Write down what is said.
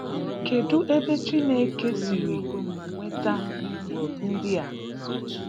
Kedụ ebe Chineke siri nweta ihe ndị a?